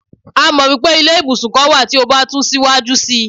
a mọ wipe ilé ibusun kan wa ti o ba tun siwaju sí